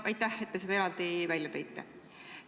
Aitäh, et te selle eraldi välja tõite.